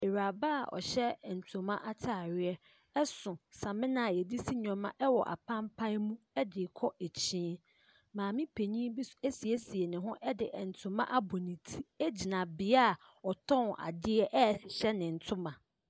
Ↄkyerɛkyerɛfoɔ gyina mmɔfra anim rekyerɛ wɔn adeɛ. ℇdan a wɔwɔ mu no yɛ nnɔte dan. Wɔn nkonnwa a wɔte so no wɔde pampuro ɛna ayɛ nkonnwa no. abfra baako apagya ne nsa a ɔkyerɛkyerɛni no atene ne nsa wɔ ne so.